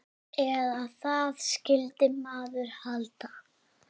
Eða það skyldi maður halda.